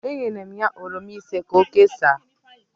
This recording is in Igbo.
Enyere m ya oroma ise ka o kesaa